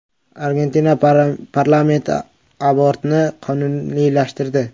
Argentina parlamenti abortni qonuniylashtirdi.